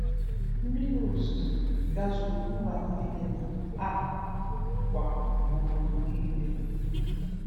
Mmiri ozizo gazuru mba nile na um kwa obodo niile.